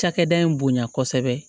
Cakɛda in bonya kosɛbɛ